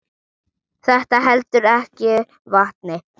Þetta heldur ekki vatni.